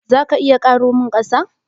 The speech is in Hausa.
Za ka iya karo min ƙasa?